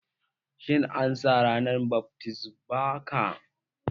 Shin an sa ranar bat mitzbah ka?